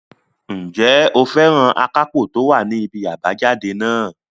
Ǹjẹ́ o fẹ́ràn akápò tó wà ní ibi àbájáde náà?